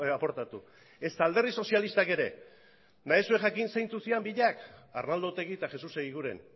aportatu ezta alderdi sozialistak ere nahi duzue jakin zeintzuk ziren biak arnaldo otegi eta jesus egiguren